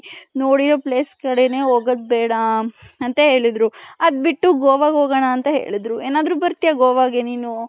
ನೋಡಿರ places ಕಡೆನೇ ಹೋಗದ್ ಬೇಡ ಅಂತ ಹೇಳದ್ರು ಅದ್ ಬಿಟ್ಟು ಗೋವ ಹೋಗೋಣ ಅಂತ ಹೇಳಿದ್ರು ಏನಾದ್ರು ಬರ್ತ್ಯ ಗೂವಗೆ ನೀನು .